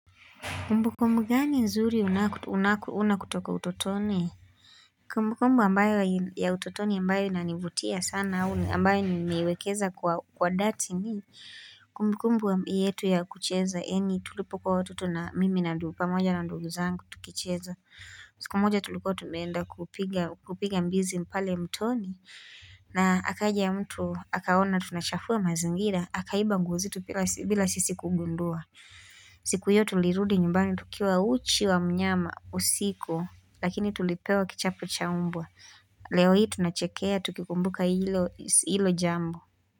Kumbu kumbu gani nzuri unakuuna kutoka utotoni? Kumbukumbu ambayo ya utotoni ambayo inanivutia sana huu ambayo nimiwekeza kwa dati ni. Kumbukumbu yetu ya kucheza eni tulipoko watoto na mimi na ndupa moja na nduuzangu tukicheza. Siku moja tuliko tumenda kupiga mbizi mpale mtoni. Na akaja ya mtu, hakaona tunashafua mazingira, hakaiba nguo zetu bila sisi kugundua. Siku hiyo tulirudi nyumbani tukiwa uchi wa mnyama usiku lakini tulipewa kichapo chaumbwa Leo hii tunachekea tukikumbuka hilo jambo.